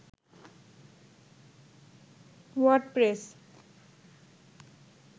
WordPress